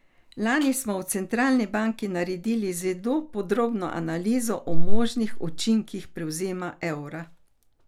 Lani smo v centralni banki naredili zelo podrobno analizo o možnih učinkih prevzema evra.